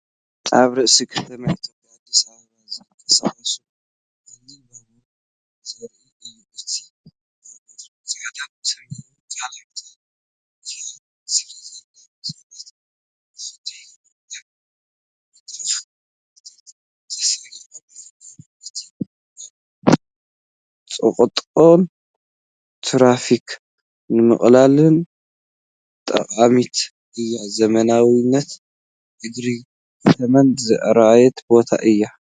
ኣብ ርእሰ ከተማ ኢትዮጵያ ኣዲስ ኣበባ ዝንቀሳቐስ ቀሊል ባቡር ዘርኢ እዩ። እታ ባቡር ጻዕዳን ሰማያውን ቀለም ተለኺያ ስለዘላ፡ ሰባት ንኽድይቡ ኣብ መድረኽ ተሰሪዖም ይርከቡ። እታ ባቡር ጽቕጥቕጥ ትራፊክ ንምቅላልን ጠቃሚት እያ። ዘመናዊነትን ዕግርግር ከተማን ዝረኣየሉ ቦታ እዩ።